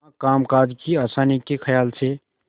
हाँ कामकाज की आसानी के खयाल से